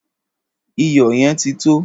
Iyò̩ ye̩n ti tó!